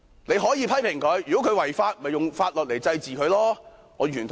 你可以批評他，如果他違法，便用法律來懲治他，我完全同意。